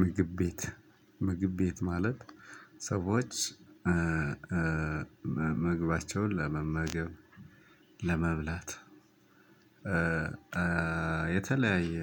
ምግብ ቤት ምግብ ቤት ማለት ሰዎች ምግባቸውን ለመመገብ ለመብላት የተለያየ